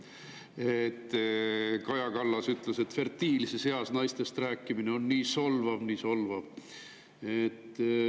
Kaja Kallas ütles, et fertiilses eas naistest rääkimine on nii solvav, nii solvav.